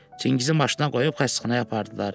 Çingizi maşına qoyub xəstəxanaya apardılar.